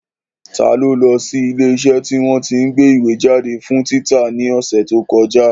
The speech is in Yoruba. Ta ló lọ sí ilé iṣẹ́ tí wọ́n tí ń gbé ìwé jáde fún títa ní ọ̀sẹ̀ tí ó kọjá?